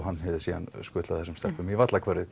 hann hafi síðan skutlað þessum stelpum í